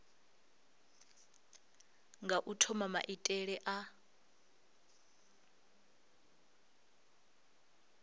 nga u thoma maitele a